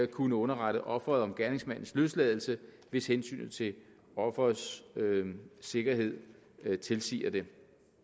kunne underrette offeret om gerningsmandens løsladelse hvis hensynet til offerets sikkerhed tilsiger det